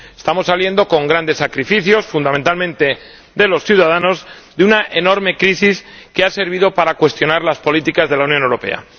Estamos saliendo con grandes sacrificios, fundamentalmente de los ciudadanos, de una enorme crisis que ha servido para cuestionar las políticas de la Unión Europea.